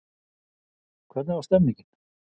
Hvernig var stemmingin?